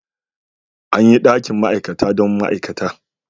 An yi dakin ma'aikata dan ma'aikata.